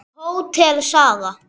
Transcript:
Hótel Saga.